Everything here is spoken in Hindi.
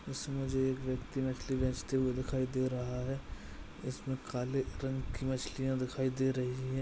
उसमें जो एक व्यक्ति मछली बेचते हुए दिखाई दे रहा है इसमें काले रंग की मछलियाँ दिखाई दे रही हैं।